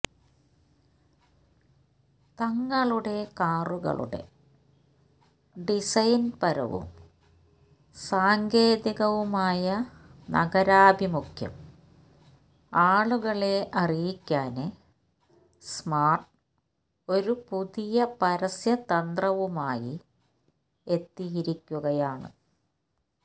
തങ്ങളുടെ കാറുകളുടെ ഡിസൈന്പരവും സാങ്കേതികവുമായ നഗരാഭിമുഖ്യം ആളുകളെ അറിയിക്കാന് സ്മാര്ട് ഒരു പുതിയ പരസ്യതന്ത്രവുമായി എത്തിയിരിക്കുകയാണ്